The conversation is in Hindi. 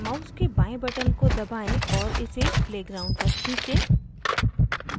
mouse के बाएं button को दबाएं और इसे play ground तक खींचें